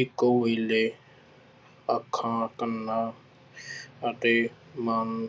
ਇੱਕੋ ਵੇਲੇ ਅੱਖਾਂ ਕੰਨਾਂ ਅਤੇ ਮਨ